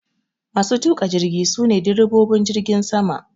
Masu tuka jirgi sune direbobin jirgin sama